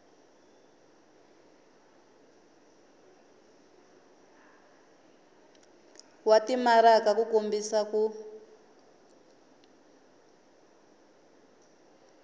wa timaraka ku kombisa ku